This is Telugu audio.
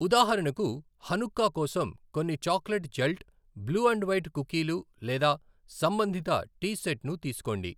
ఉదాహరణకు, హనుక్కా కోసం కొన్ని chocolate gelt, blue and white కుక్కీలు లేదా సంబంధిత టీ సెట్ను తీసుకోండి.